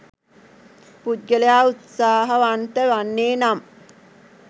පුද්ගලයා උත්සාහවන්ත වන්නේ නම්